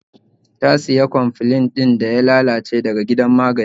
Ta siya cofflin daya lalace daga gidan magani